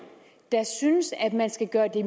der synes at man skal gøre det